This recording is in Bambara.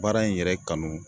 Baara in yɛrɛ kanu